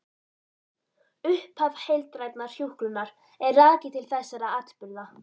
Upphaf heildrænnar hjúkrunar er rakið til þessara atburða.